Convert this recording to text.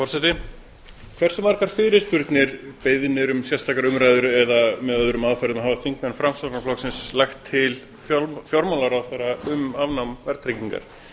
forseti hversu margar fyrirspurnir beiðnir um sérstakar umræður eða með öðrum aðferðum hafa þingmenn framsóknarflokksins lagt til fjármálaráðherra um afnám verðtryggingar það